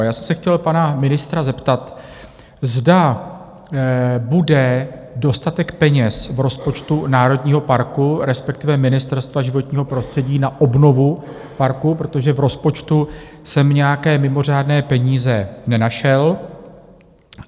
A já jsem se chtěl pana ministra zeptat, zda bude dostatek peněz v rozpočtu národního parku, respektive Ministerstva životního prostředí, na obnovu parku, protože v rozpočtu jsem nějaké mimořádné peníze nenašel.